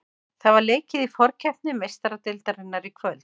Það var leikið í forkeppni Meistaradeildarinnar í kvöld.